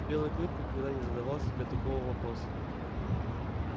белый клык никогда не задавал себе такого вопроса